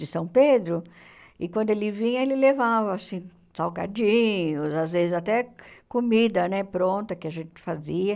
de São Pedro, e quando ele vinha, ele levava, assim, salgadinhos, às vezes até comida, né, pronta, que a gente fazia.